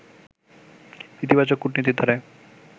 ইতিবাচক কূটনীতির ধারায়